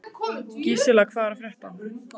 Gísela, hvað er að frétta?